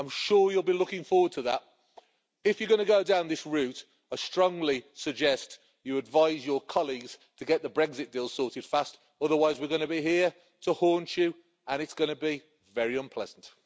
I'm sure you'll be looking forward to that. If you're going to go down this route, I strongly suggest that you advise your colleagues to get the Brexit bill sorted fast, otherwise we're going to be here to haunt you and it's going to be very unpleasant.